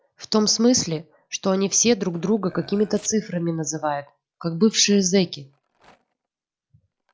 в том смысле что они все друг друга какими-то цифрами называют как бывшие зеки